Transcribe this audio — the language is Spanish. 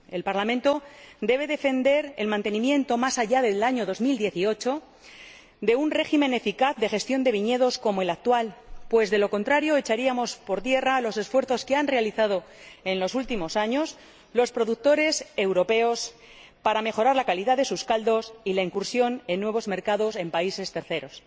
El Parlamento debe defender el mantenimiento, más allá del año 2018, de un régimen eficaz de gestión de viñedos como el actual, pues, de lo contrario, echaríamos por tierra los esfuerzos que han realizado en los últimos años los productores europeos para mejorar la calidad de sus caldos y penetrar en nuevos mercados en terceros